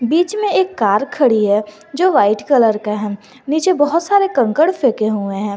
बीच में एक कार खड़ी है जो वाइट कलर का है नीचे बहोत सारे कंकड़ फेंके हुए हैं।